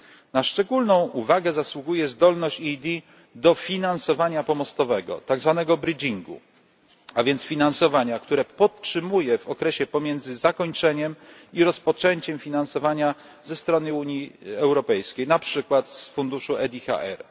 Na szczególną uwagę zasługuje zdolność EED do finansowania pomostowego, tak zwanego bridgingu a więc finansowania, które utrzymuje się w okresie pomiędzy zakończeniem jednego i rozpoczęciem drugiego finansowania ze strony Unii Europejskiej, na przykład z funduszu EDHR.